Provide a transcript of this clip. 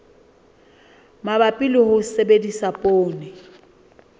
mabapi le ho sebedisa poone